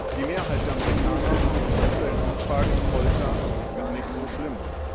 Die Mehrheit der Amerikaner findet in aktuellen Umfragen Folter gar nicht so schlimm.